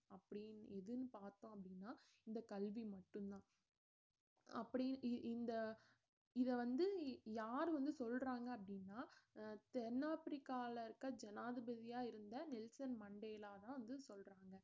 அப்படின்னு எதுன்னு பாத்தோம் அப்படினா இந்த கல்வி மட்டும்தான் அப்படி இ~ இந்த இத வந்து யாரு வந்து சொல்றாங்க அப்படின்னா அஹ் தென்னாப்பிரிக்கால இருக்க ஜனாதிபதியா இருந்த நெல்சன் மண்டேலா தான் வந்து சொல்றாங்க